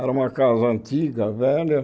Era uma casa antiga, velha.